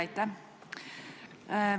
Aitäh!